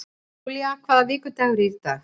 Julia, hvaða vikudagur er í dag?